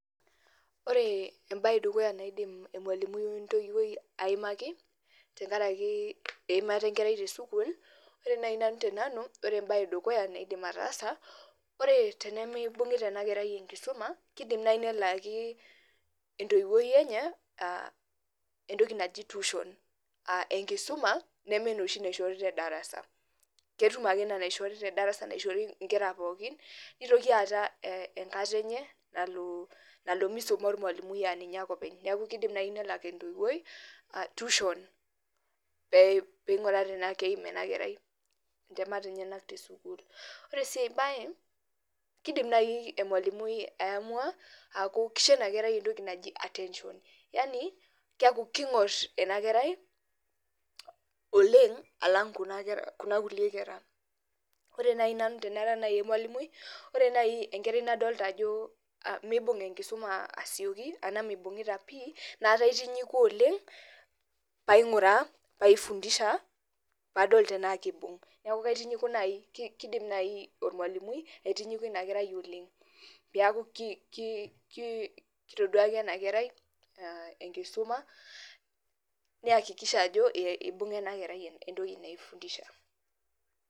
Ore ebae edukuya naidim emalimui entoiwuoi aimaki tenkaraki eimata enkerai tesukuul, ore nai nanu tenanu ore ebae edukuya naidim ataasa, ore tenemeibung'ita enakerai enkisuma, kidim nai nelaki entoiwuoi enye entoki naji tuition. Ah enkisuma nemenoshi naishori tedarasa. Ketum ake ina naishori tedarasa naishori inkera pookin, nitoki aata enkata enye nalo misuma ormalimui aninye ake openy. Neeku nai kidim nelak entoiwuoi, tuition peing'or tenaa keim enakerai intemat enyanak vizuri. Ore si ai bae, kidim nai emalimui aamua aku kisho inakerai entoki naji attention. Yani keku king'or enakerai oleng alang kuna kulie kera. Ore nai nanu tenara nai emalimui, ore nai enkerai nadolta ajo mibung' enkisuma asioki, anaa mibung'ita pi, na kaitinyiku oleng, paing'uraa paifundisha padol tenaa kibung'. Neeku kaitinyiku nai kidim nai ormalimui aitinyiku inakerai oleng. Peku kitoduaki enakerai enkisuma, niakikisha ajo ibung'a enakerai entoki naifundisha.